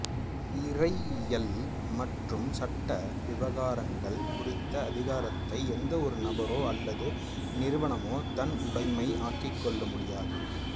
இறையியல் மற்றும் சட்ட விவகாரங்கள் குறித்த அதிகாரத்தை எந்த ஒரு நபரோ அல்லது நிறுவனமோ தன் உடைமையாக்கிக்கொள்ள முடியாது